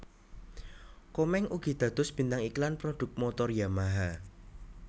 Komeng ugi dados bintang iklan prodhuk motor Yamaha